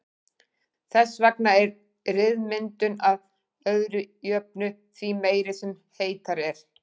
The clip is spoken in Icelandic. Þess vegna er ryðmyndun að öðru jöfnu því meiri sem heitara er.